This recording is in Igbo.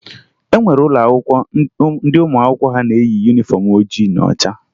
E nwere ụlọakwụkwọ ndị ụmụ akwụkwọ ha na-eyi yunifọmụ oji na ọcha